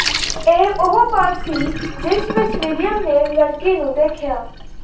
ਇਹ ਉਹ ਪਲ ਸੀ ਜਿਸ ਵਿਚ ਵਿਲੀਅਮ ਨੇ ਲੜਕੀ ਨੂੰ ਦੇਖਿਆ